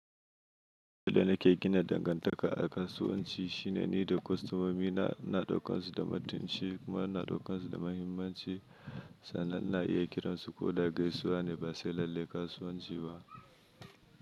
Abin da na ke gina dangantaka a kasuwanci shine ni da kostomomi na, ina ɗaukan su da mutunci, kuma ina ɗaukan su da muhimmanci. Sannan ina iya kiransu ko da gaisuwa ne ba sai lalle kasuwanci ba.